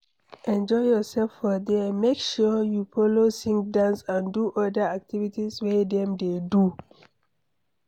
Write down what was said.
Enjoy yourself for there make sure say you follow sing dance and do other activities wey dem de do